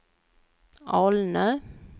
Alnö